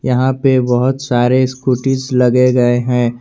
यहां पे बहुत सारे स्कूटिस लगे गए हैं।